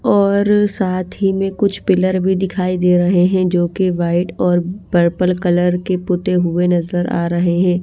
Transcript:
और साथ ही में कुछ पिलर भी दिखाई दे रहे हैं जो कि व्हाइट और पर्पल कलर के पुते हुए नजर आ रहे हैं।